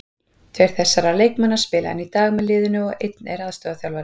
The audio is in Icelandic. Tveir þessara leikmanna spila enn í dag með liðinu og einn er aðstoðarþjálfari.